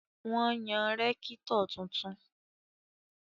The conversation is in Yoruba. Wọ́n yan rẹ́kítọ̀ tuntun